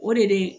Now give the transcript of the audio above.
O de bɛ